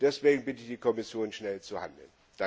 Und deswegen bitte ich die Kommission, schnell zu handeln.